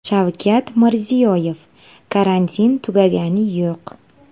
Shavkat Mirziyoyev: Karantin tugagani yo‘q.